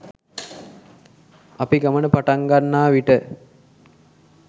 අපි ගමන පටන් ගන්නා විට